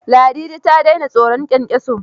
Ladidi ta daina tsoron kyankyaso?